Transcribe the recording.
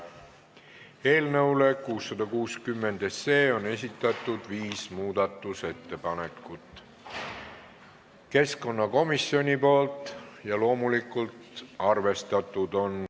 Eelnõu 660 kohta on esitatud neli muudatusettepanekut keskkonnakomisjonilt ja loomulikult on need arvestatud.